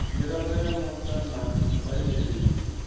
mirado ya muta na vhaimeleli